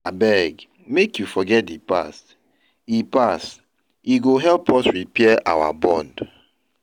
Abeg make you forget di past, e past, e go help us repair our bond.